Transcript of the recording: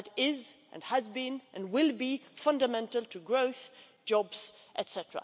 That is, and has been and will be fundamental to growth, jobs etc.